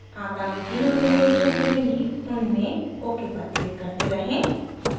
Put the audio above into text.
आगामी तीनों विंडो जो खुलेंगी उनमें ok पर क्लिक करते रहें